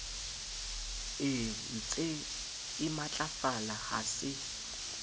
e ntsee matlafala ha se